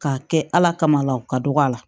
K'a kɛ ala kamala la o ka dɔgɔ a la